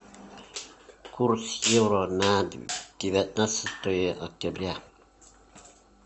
курс евро на девятнадцатое октября